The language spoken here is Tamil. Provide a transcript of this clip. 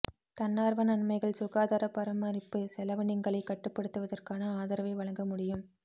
தன்னார்வ நன்மைகள் சுகாதார பராமரிப்பு செலவினங்களை கட்டுப்படுத்துவதற்கான ஆதரவை வழங்க முடியும்